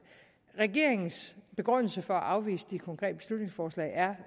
regeringens begrundelse for at afvise de konkrete beslutningsforslag er